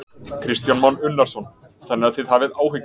Kristján Már Unnarsson: Þannig að þið hafið áhyggjur?